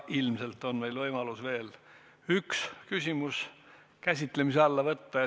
Ilmselt on meil võimalus veel üks küsimus käsitlemise alla võtta.